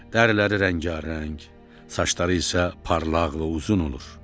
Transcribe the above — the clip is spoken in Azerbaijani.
Dəriləri rəngarəng, saçları isə parlaq və uzun olur.